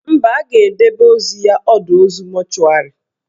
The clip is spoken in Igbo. Mba, a ga-edebe ozu ya ọdọ ozu mọchụarị